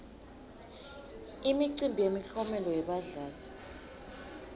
imicimbi yemiklomelo yebadlali